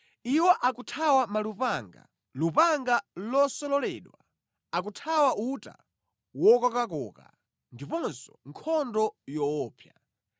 Iwo akuthawa malupanga, lupanga losololedwa, akuthawa uta wokokakoka ndiponso nkhondo yoopsa.